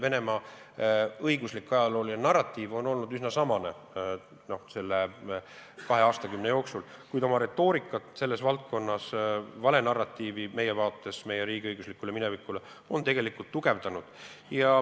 Venemaa õiguslik-ajalooline narratiiv on olnud üsna samasugune selle kahe aastakümne jooksul, kuid viimasel ajal on ta oma retoorikat selles valdkonnas, oma valenarratiivi meie riigi õiguslikust minevikust tegelikult tugevdanud.